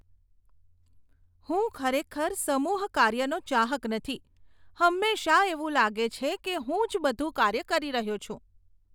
હું ખરેખર સમુહ કાર્યનો ચાહક નથી, હંમેશા એવું લાગે છે કે હું જ બધું કાર્ય કરી રહ્યો છું.